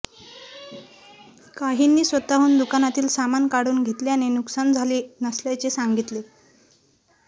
काहींनी स्वतःहून दुकानातील सामान काढून घेतल्याने नुकसान झाले नसल्याचे सांगितले